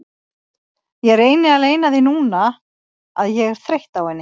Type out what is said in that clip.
Ég reyni að leyna því núna að ég er þreytt á henni.